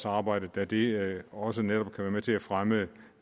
arbejde da det også netop kan være med til at fremme